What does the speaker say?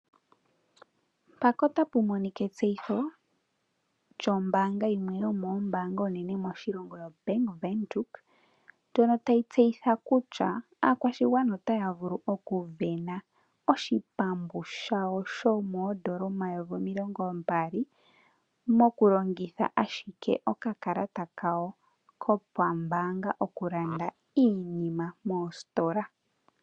Mpaka otapu monika etseyitho djo mbaanga yimwe , yomoombaanga oonene moshilongo yobank windhoek ndjono tayi tseyitha kutya aakwashigwana otaya vulu oku wena oshipambu shawo sho moondola omayovi omilongo mbali mokulongitha ashike oka kalata kawo kopa mbaanga okulanda iinima mostola.